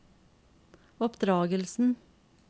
oppdragelsen